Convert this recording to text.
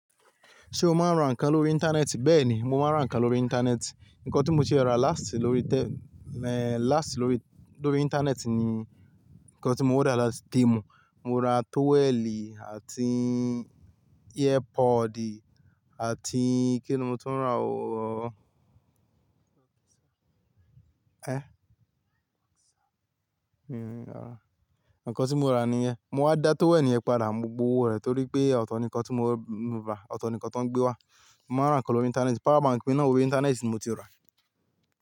Ṣé o máa ń ra nǹkan lórí Íńtánẹ́ẹ̀tì? Bẹ́ẹ̀ ni, mo máa ń ra nǹkan lórí Íńtánẹ́ẹ̀tì. Ǹkan tí mo tie rà láàsì lórí te-- eh, láàsì lórí, lórí Íńtánẹ́ẹ̀tì ni Ǹkan tí mo order latí temu, mo ra tọ́wẹ́ẹ̀lì àti earpod àti kí ni mo tó ń rà ó. Ẹ? Hmm, Ǹkan tí mo rà nìyẹn. Mo wá dá tọ́wẹ́ẹ̀lì yẹn padà, mo gbowó rẹ̀ torí pé ọ̀tọ̀ nǹkan tí mo rà, ọ̀tọ̀ nǹkan tó ń gbé wá. Mo máa ń rà nǹkan lórí Íńtánẹ́ẹ̀tì, power bank mi náà òwe Íńtánẹ́ẹ̀tì ni mo ti rà.